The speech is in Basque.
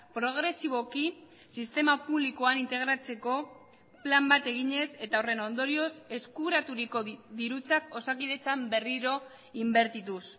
progresiboki sistema publikoan integratzeko plan bat eginez eta horren ondorioz eskuraturiko dirutzak osakidetzan berriro inbertituz